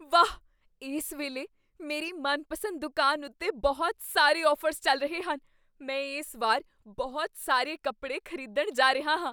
ਵਾਹ! ਇਸ ਵੇਲੇ ਮੇਰੀ ਮਨਪਸੰਦ ਦੁਕਾਨ ਉੱਤੇ ਬਹੁਤ ਸਾਰੇ ਔਫਰਜ਼ ਚੱਲ ਰਹੇ ਹਨ। ਮੈਂ ਇਸ ਵਾਰ ਬਹੁਤ ਸਾਰੇ ਕੱਪੜੇ ਖ਼ਰੀਦਣ ਜਾ ਰਿਹਾ ਹਾਂ।